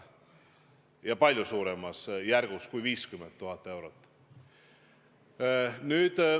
Ja annetusi on olnud palju suuremaski summas kui 50 000 eurot.